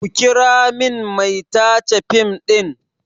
Ku kira min mai tace fim ɗin!